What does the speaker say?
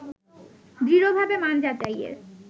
দৃঢ়ভাবে মান যাচাইয়ের